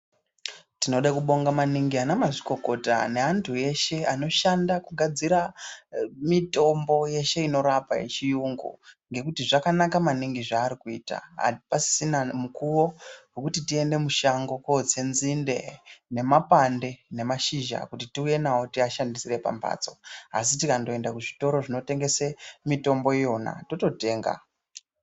Tinoda kubonga maningi ana mazvikokota neantu eshe anoshanda kugadzira mitombo yeshe inorapa yechiyungu. Ngekuti zvakanaka naningi zvaari kuita hapasisina mukuvo vekuti tiende mushango kotse nzinde nemapande nemashizha kuti tiuye navo tiashandisire pambatso. Asi tikandoende kuzvitoro zvinotengese mitombo iyona tototenga.